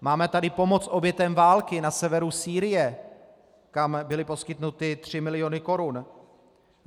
Máme tady pomoc obětem války na severu Sýrie, kam byly poskytnuty tři miliony korun.